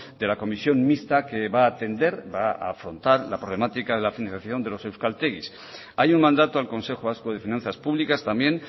de la comisión mixta que va a atender va a afrontar la problemática de la financiación de los euskaltegis hay un mandato al consejo vasco de finanzas públicas también